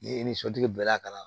Ni e ni sotigi bɛn'a ka na